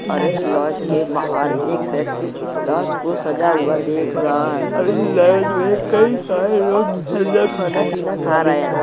और इस लॉज के बाहर एक व्यक्ति इस लॉज को सजा हुआ देख रहा है और इस लॉज में कई सारे लोग अंदर खाना पीना खा रहे हैं।